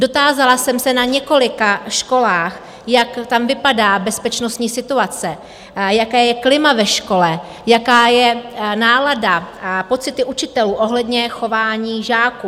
Dotázala jsem se na několika školách, jak tam vypadá bezpečnostní situace, jaké je klima ve škole, jaká je nálada a pocity učitelů ohledně chování žáků.